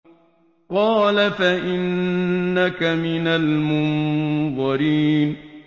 قَالَ فَإِنَّكَ مِنَ الْمُنظَرِينَ